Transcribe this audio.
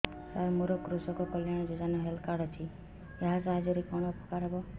ସାର ମୋର କୃଷକ କଲ୍ୟାଣ ଯୋଜନା ହେଲ୍ଥ କାର୍ଡ ଅଛି ଏହା ସାହାଯ୍ୟ ରେ କଣ ଉପକାର ହବ